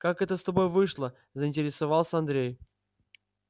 как это с тобой вышло заинтересовался андрей